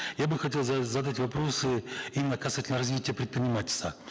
я бы хотел задать вопросы именно касательно развития предпринимательства